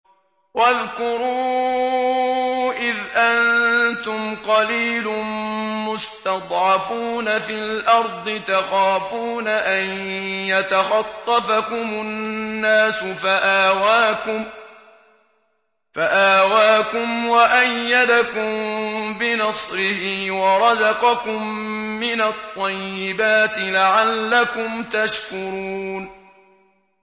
وَاذْكُرُوا إِذْ أَنتُمْ قَلِيلٌ مُّسْتَضْعَفُونَ فِي الْأَرْضِ تَخَافُونَ أَن يَتَخَطَّفَكُمُ النَّاسُ فَآوَاكُمْ وَأَيَّدَكُم بِنَصْرِهِ وَرَزَقَكُم مِّنَ الطَّيِّبَاتِ لَعَلَّكُمْ تَشْكُرُونَ